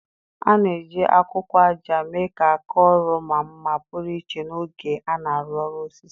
A na-eji akwụkwọ ájá mee ka áká ọrụ maa mma pụrụ iche n'oge a na-arụ ọrụ osisi.